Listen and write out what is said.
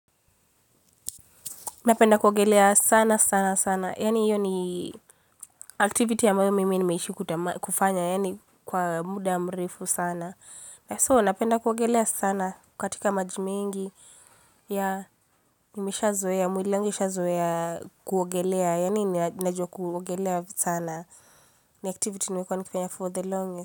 Napenda kuogelea sana sana sana. Yani hiyo ni activity ambayo mimi nimeishi kufanya. Yani kwa muda mrefu sana. So napenda kuogelea sana. Katika maji mengi. Ya nimeshazoea mwili wangu ushazoea kuogelea. Yani najua kuogelea sana. Ni activity nimekuwa nikifanya for the longest.